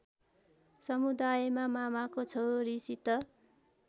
समुदायमा मामाको छोरीसित